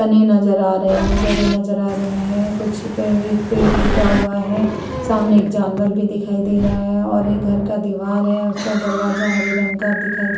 तने नजर आ रहे हैं जड़ें नजर आ रहे हैं कुछ पे एक पेड़ टूटा हुआ है। सामने एक जानवर भी दिखाई दे रहा है और घर का दीवार है उसका दरवाजा हरे रंग का दिखा --